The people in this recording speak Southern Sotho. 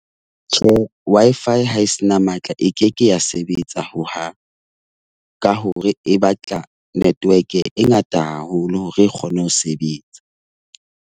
Tjhe Wi-Fi ha e se na matla, e ke ke ya sebetsa hohang. Ka hore e batla network e ngata haholo hore e kgone ho sebetsa.